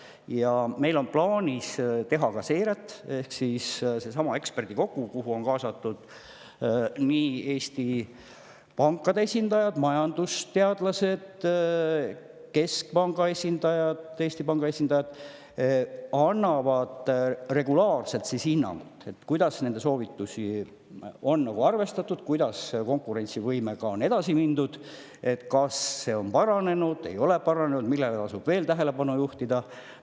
Ja meil on plaanis teha seiret, kui palju seesama eksperdikogu, kuhu on kaasatud Eesti pankade esindajad, majandusteadlased, samuti keskpanga, Eesti Panga esindajad, kes annavad regulaarselt hinnangut, on, kuidas nende soovitusi on arvestatud, kuidas konkurentsivõimega on edasi mindud, kas see on paranenud või ei ole paranenud, millele tasub veel tähelepanu juhtida.